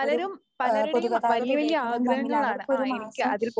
ഒരു ഏഹ് പൊതുഗതാഗതം ഉപയോഗിക്കണതും തമ്മിൽ അവർക്കൊരു മാസം